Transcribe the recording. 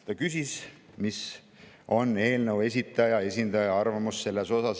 Ta küsis, mis on eelnõu esitaja esindaja arvamus selle kohta.